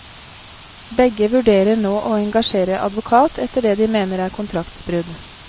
Begge vurderer nå å engasjere advokat etter det de mener er kontraktsbrudd.